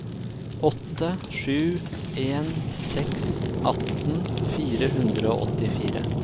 åtte sju en seks atten fire hundre og åttifire